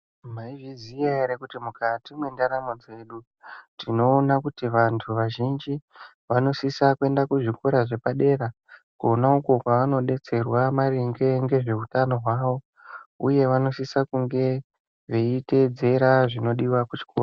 Mwaizviziya ere kuti mukati mwendaramo dzedu tinoona kuti vantu vazhinji vanosisa kuenda kuzvikora zvepadera kona uko kwavanodetserwa maringe nezveutano hwavo uye vanosisa kunge veyitevedzera zvinodiwa ku chikora.